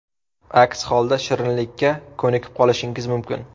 Aks holda shirinlikka ko‘nikib qolishingiz mumkin.